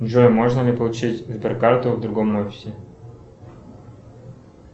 джой можно ли получить сберкарту в другом офисе